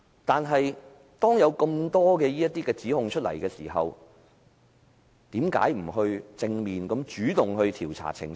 但是，當有那麼多指控出現時，為何不主動和正面調查澄清？